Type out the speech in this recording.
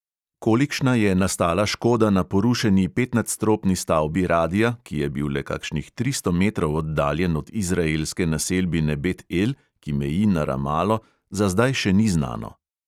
Kolikšna je nastala škoda na porušeni petnadstropni stavbi radia, ki je bil le kakšnih tristo metrov oddaljen od izraelske naselbine bet el, ki meji na ramalo, za zdaj še ni znano.